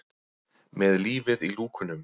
Með lífið í lúkunum.